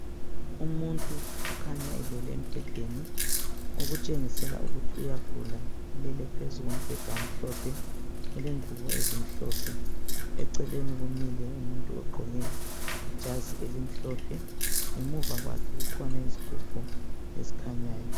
Umuntu okhanya elele embhedeni okutshengisela ukuthi uyagula ulele phezu kombheda omhlophe ulengubo ezimhlophe eceleni kumile umuntu ogqoke ijazi elimhlophe ngemuva kukhona isigubhu esikhanyayo